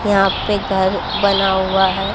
यहाँ पे घर बना हुआ है।